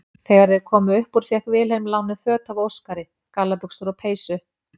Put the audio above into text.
Þegar þeir komu upp úr fékk Vilhelm lánuð föt af Óskari, gallabuxur og peysu.